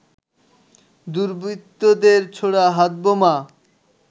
দুর্বৃত্তদের ছোড়া হাতবোমা